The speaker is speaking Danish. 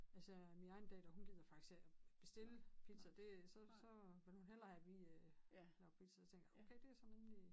Altså min egen datter hun gider faktisk heller ikke bestille pizza det så så vil hun hellere have vi øh laver pizza til hende okay det sådan rimelig